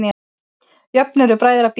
Jöfn eru bræðra býti.